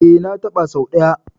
E, na taɓa sau ɗaya.